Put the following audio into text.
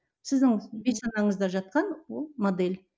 сіздің бейсанаңызда жатқан ол модель